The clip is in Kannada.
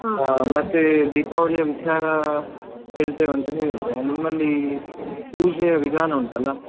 ಮತ್ತೆ ದೀಪಾವಳಿಯ ವಿಚಾರ ಹೇಳ್ತೇವೆ ಅಂತ ಹೇಳಿದ್ರೆ ನಿಮ್ಮಲ್ಲಿ ಪೂಜೆಯ ವಿಧಾನ ಉಂಟಲ್ಲ.